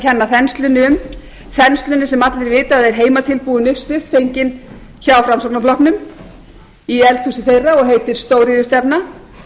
kenna þenslunni um þenslunni sem allir vita að er heimatilbúin uppskrift fengin hjá framsfl í eldhúsi þeirra og heitir stóriðjustefna